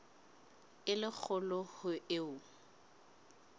e le kgolo ho eo